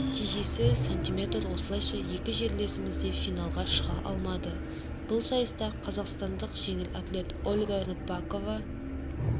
нәтижесі см осылайша екі жерлесімізде финалға шыға алмады бұл сайыста қазақстандық жеңіл атлет ольга рыпакова